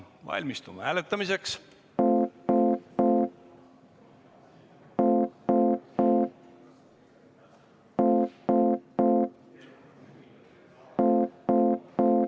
Valmistume hääletamiseks.